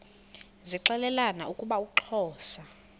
zixelelana ukuba uxhosa